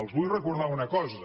els vull recordar una cosa